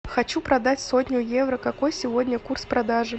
хочу продать сотню евро какой сегодня курс продажи